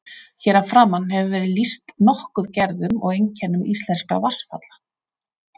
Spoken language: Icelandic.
Hér að framan hefur verið lýst nokkuð gerðum og einkennum íslenskra vatnsfalla.